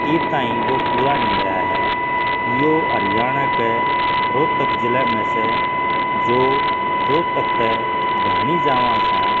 इब तइं वो पूरा नही होया ह यो हरयाणह क रोहतक जिले म स जो रोहतक त भ्याणी जावां सां --